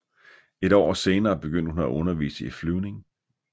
Et år senere begyndte hun at undervise i flyvning